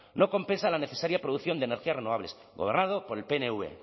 no compensa la necesaria producción de energías renovables gobernado por el pnv